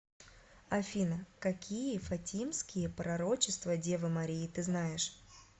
афина какие фатимские пророчества девы марии ты знаешь